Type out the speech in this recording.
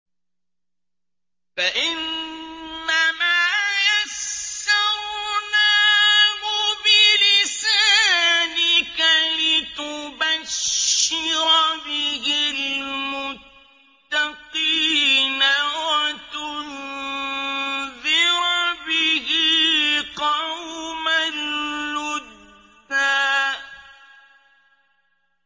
فَإِنَّمَا يَسَّرْنَاهُ بِلِسَانِكَ لِتُبَشِّرَ بِهِ الْمُتَّقِينَ وَتُنذِرَ بِهِ قَوْمًا لُّدًّا